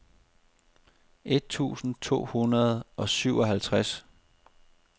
et tusind to hundrede og syvoghalvtreds